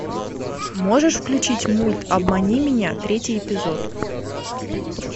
можешь включить мульт обмани меня третий эпизод